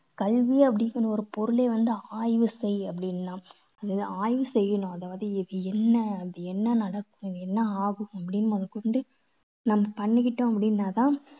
கல்வி அப்படிங்கற ஒரு பொருளே வந்து ஆய்வு செய் அப்படிங்கலாம். அது ஆய்வு செய்யணும் அது வந்து என்ன அது என்ன நடக்கும் என்ன ஆகும் அப்படின்னு முதல் கொண்டு நம்ம பண்ணிக்கிட்டோம் அப்படின்னா தான்